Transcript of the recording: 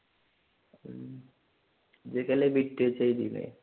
നീയൊക്കെ അല്ലെ ബിറ്റ് വച്ച് എഴുതിയത്.